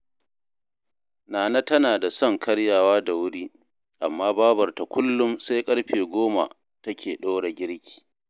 Nana tana da son karyawa da wuri, amma Babarta kullum sai ƙarfe goma take ɗora girki